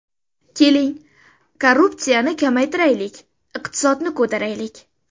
Keling, korrupsiyani kamaytiraylik, iqtisodni ko‘taraylik.